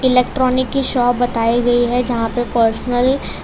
electronic की shop दिखाई गई है जहां पे पर्सनल --